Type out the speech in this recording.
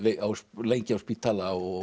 lengi á spítala og